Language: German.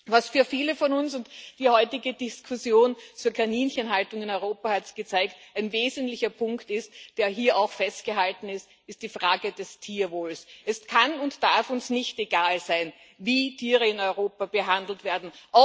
Was für viele von uns und die heutige Diskussion zur Kaninchenhaltung in Europa hat es gezeigt ein wesentlicher Punkt ist, der hier auch festgehalten ist, ist die Frage des Tierwohls Es kann und darf uns nicht egal sein, wie Tiere in Europa behandelt werden.